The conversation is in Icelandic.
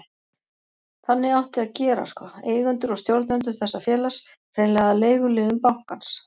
Þannig átti að gera sko, eigendur og stjórnendur þessa félags, hreinlega að leiguliðum bankans.